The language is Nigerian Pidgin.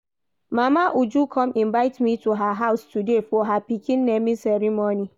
Mama Uju come invite me to her house today for her pikin naming ceremony